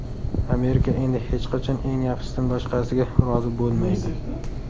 Amerika endi hech qachon eng yaxshisidan boshqasiga rozi bo‘lmaydi.